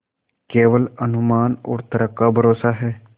केवल अनुमान और तर्क का भरोसा है